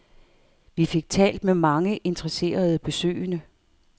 Vi fik talt med mange interesserede besøgende.